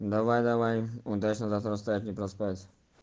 давай давай удачного завтра встать не проспать